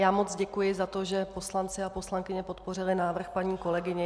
Já moc děkuji za to, že poslanci a poslankyně podpořili návrh paní kolegyně.